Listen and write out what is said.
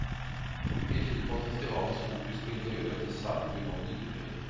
Mye tyder på at festivalens fokus på interiør og design vil nå nye høyder.